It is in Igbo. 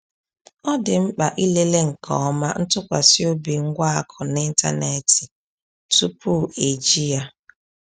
Ọ dị mkpa ịlele nke ọma ntụkwasị obi ngwa akụ n’ịntanetị tupu eji ya.